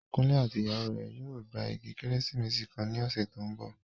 Kunle àti ìyàwó rẹ̀ yóò gba igi Kérésìmesì kan ní ọ̀sẹ̀ tó ń bọ̀